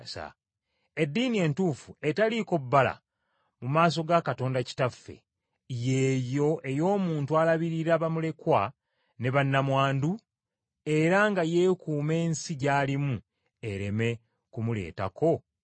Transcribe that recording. Eddiini entuufu etaliiko bbala mu maaso ga Katonda Kitaffe, y’eyo ey’omuntu alabirira bamulekwa ne bannamwandu era nga yeekuuma ensi gy’alimu ereme kumuletako bbala.